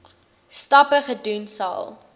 stappe gedoen sal